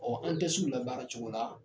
Ɔ an tɛ la baara cogo la